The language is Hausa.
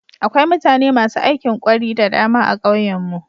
Akwai mutane masu aikin ƙwari da dama a ƙauyen mu.